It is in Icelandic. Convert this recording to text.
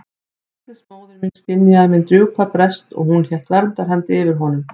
Veslings móðir mín skynjaði minn djúpa brest og hún hélt verndarhendi yfir honum.